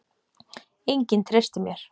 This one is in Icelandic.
Enginn treystir mér.